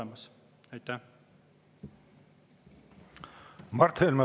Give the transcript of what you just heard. Mart Helme, palun!